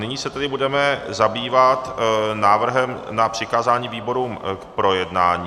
Nyní se tedy budeme zabývat návrhem na přikázání výborům k projednání.